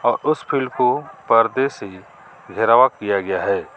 और उस फिल्ड को परदे से घेरावां किया गया है.